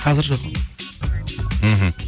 қазір жоқ мхм